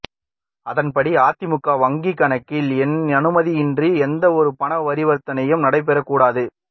அதன் படி அதிமுக வங்கி கணக்கில் என் அனுமதியின்றி எந்த ஒரு பணப்பரிவர்த்தனையும் நடைப்பெறக்கூடாது